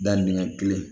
Da minɛn kelen